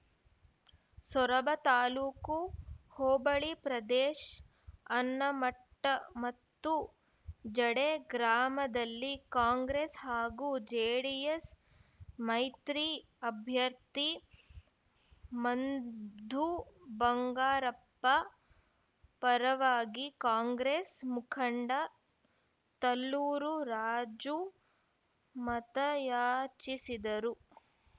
ಸೊರಬ ತಾಲೂಕು ಹೋಬಳಿ ಪ್ರದೇಶ್ ಅಣ್ಣಮಟ್ಟ ಮತ್ತು ಜಡೆ ಗ್ರಾಮದಲ್ಲಿ ಕಾಂಗ್ರೆಸ್‌ ಹಾಗು ಜೆಡಿಎಸ್‌ ಮೈತ್ರಿ ಅಭ್ಯರ್ಥಿ ಮಂಧು ಬಂಗಾರಪ್ಪ ಪರವಾಗಿ ಕಾಂಗ್ರೆಸ್‌ ಮುಖಂಡ ತಲ್ಲೂರು ರಾಜು ಮತಯಾಚಿಸಿದರು